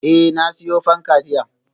Eh, na siyo fanka jiya